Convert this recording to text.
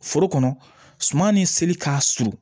Foro kɔnɔ suman ni seli k'a surun